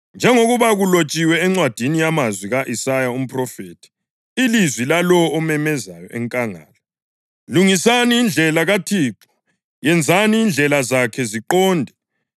Njengoba kulotshiwe encwadini yamazwi ka-Isaya umphrofethi: “Ilizwi lalowo omemezayo enkangala, ‘Lungisani indlela kaThixo, yenzani indlela zakhe ziqonde.